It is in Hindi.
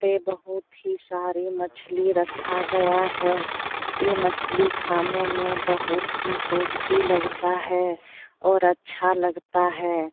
पे बहुत ही सारी मछली रखा गया है ये मछली खाने में बहुत ही टेस्टी लगता है और अच्छा लगता है।